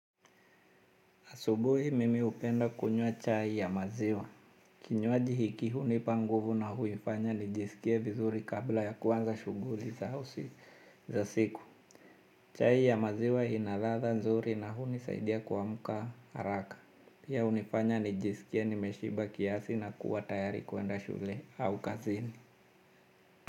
Asubuhi mimi hupenda kunywa chai ya maziwa. Kinywaji hiki hunipa nguvu na huifanya nijisikie vizuri kabla ya kuanza shughuli za usi za siku. Chai ya maziwa inaladha nzuri na hunisaidia kuamka haraka. Pia hunifanya nijisikie nimeshiba kiasi na kuwa tayari kuenda shule au kazini.